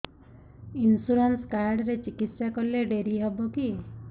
insurance card ରେ ଚିକିତ୍ସା କଲେ ଡେରି ହବକି